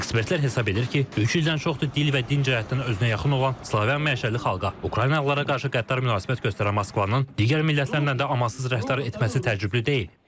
Ekspertlər hesab edir ki, üç ildən çoxdur dil və din cəhətdən özünə yaxın olan Slavyan mənşəli xalqa – Ukraynalılara qarşı qəddar münasibət göstərən Moskvanın digər millətlərlə də amansız rəftar etməsi təəccüblü deyil.